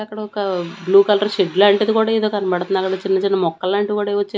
అక్కడ ఒక blue colour shed లాంటిది కూడా ఏదో కన్బడ్తాంది . అక్కడ చిన్న చిన్న ముక్కలాంటివి కూడా ఏవో చిన్ --